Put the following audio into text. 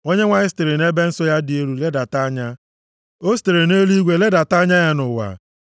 “ Onyenwe anyị sitere nʼebe nsọ ya dị elu ledata anya, o sitere nʼeluigwe ledata anya ya nʼụwa,